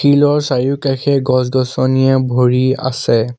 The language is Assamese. টিলৰ চাৰিওকাষে গছ-গছনিয়ে ভৰি আছে।